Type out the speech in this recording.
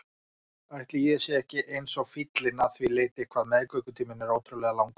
Ætli ég sé ekki eins og fíllinn að því leyti hvað meðgöngutíminn er ótrúlega langur.